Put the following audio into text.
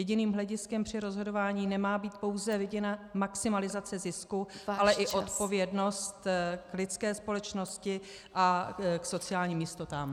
Jediným hlediskem při rozhodování nemá být pouze vidina maximalizace zisku , ale i odpovědnost k lidské společnosti a k sociálním jistotám.